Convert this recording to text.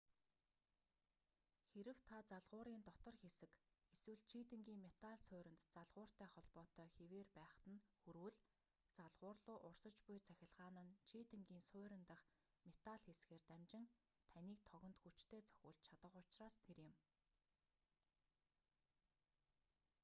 хэрэв та залгуурын дотор хэсэг эсвэл чийдэнгийн метал сууринд залгууртай холбоотой хэвээр байхад нь хүрвэл залгуур луу урсаж буй цахилгаан нь чийдэнгийн суурин дахь метал хэсгээр дамжин таныг тогонд хүчтэй цохиулж чадах учраас тэр юм